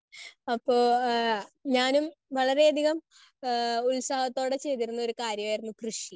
Speaker 1 അപ്പോ ആഹ് ഞാനും വളരെയധികം ആഹ് ഉത്സാഹത്തോടെ ചെയ്തിരുന്ന ഒരു കാര്യായിരുന്നു കൃഷി.